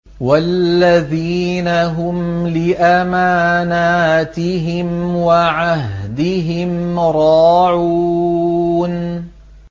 وَالَّذِينَ هُمْ لِأَمَانَاتِهِمْ وَعَهْدِهِمْ رَاعُونَ